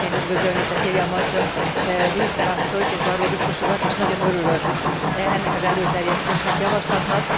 Én is szeretném üdvözölni Cecilia Marshall miniszter asszonyt és Barrot biztos urat, és nagyon örülök ennek az előterjesztésnek, javaslatnak.